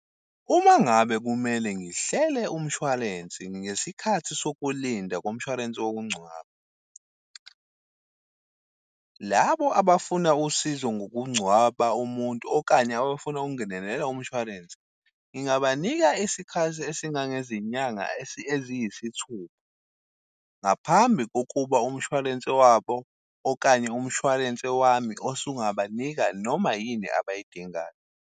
Uma ngabe kumele ngihlele umshwalensi ngesikhathi sokulinda komshwalense wokungcwaba , labo abafuna usizo ngokungcwaba umuntu okanye abafuna ukungenelela umshwalense, ngingabanika isikhathi esingange izinyanga eziyisithupha ngaphambi kokuba umshwalense wabo okanye umshwalense wami osungabanika noma yini abayidingayo.